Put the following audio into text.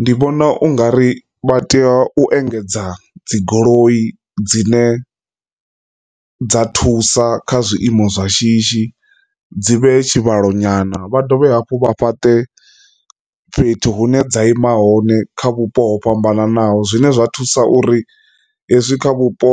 Ndi vhona u nga ri vha tea u engedza dzi goloi dzine dza thusa kha zwiimo zwa shishi dzi vhe tshivhalo nyana vha dovhe hafhu vha fhate fhethu hune dza ima hone kha vhupo ho fhambananaho zwine zwa thusa uri hezwi kha vhupo